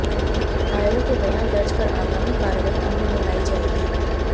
घायलों के बयान दर्ज कर आगामी कार्रवाई अमल में लाई जाएगी